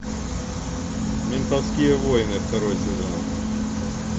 ментовские войны второй сезон